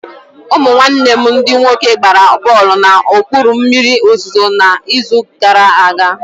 Ụmụ nwanne m ndị nwoke gbara bọlụ na okpuru mmiri ozuzo na izu gara aga